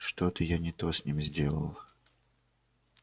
что-то я не то с ним сделал